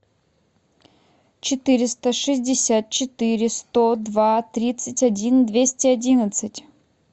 четыреста шестьдесят четыре сто два тридцать один двести одиннадцать